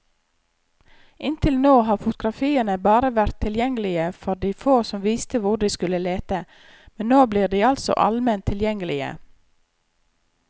Inntil nå har fotografiene bare vært tilgjengelige for de få som visste hvor de skulle lete, men nå blir de altså alment tilgjengelige.